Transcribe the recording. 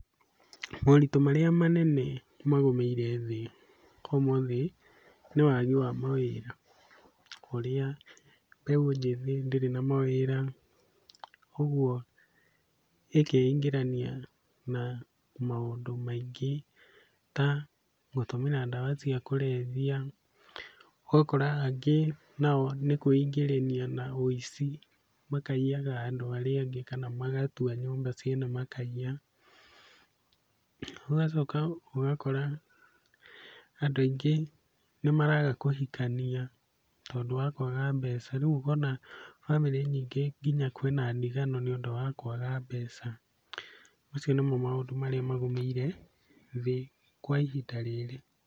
Moritũ marĩa manene magũmĩire thĩ ũmũthĩ nnĩ wagi wa mawĩra, ũrĩa mbeũ njĩthĩ ndĩrĩ na mawĩra, ũguo ĩkeingĩrania na maũndũ maingĩ ta gũtũmĩra ndawa cia kũrebia, Ũgakora angĩ nao nĩkwĩingĩrania na wĩici makaiyaga andũa arĩa angĩ kana magatua nyũmba ciene makaiya. Ũgacoka ũgakora andũ aingĩ nĩmaraga kũhikania tondũ wa kwaga mbeca, rĩu ona bamĩrĩ nyingĩ kinya kwĩna ndigano nĩũndũ wa kwaga mbeca. Macio nĩmo maũndũ marĩa magũmĩire thĩ kwa ihinda rĩrĩ.